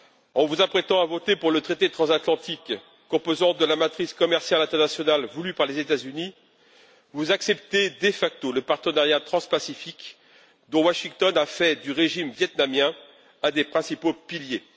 En vous apprêtant à voter pour le traité transatlantique, composante de la matrice commerciale internationale voulue par les États Unis, vous acceptez de facto le partenariat transpacifique, dont Washington a fait du régime vietnamien l'un des principaux piliers.